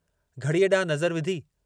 घड़ीअ ॾांहुं नज़र विधी।